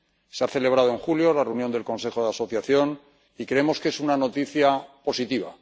Se ha celebrado en julio la reunión del Consejo de Asociación, y creemos que es una noticia positiva.